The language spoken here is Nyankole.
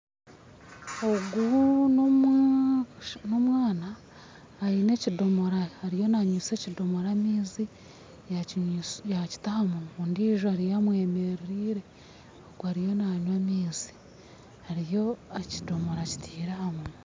Ogu n'omwana aine ekidomora ariyo nanywesa ekidomora amaizi yakita aha munwa, ondijo ariyo amwemereriire. Ogu ariyo naanywa amaizi. Ariyo, ekidomora akitaire aha munwa.